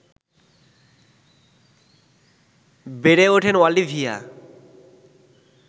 বেড়ে উঠেন অলিভিয়া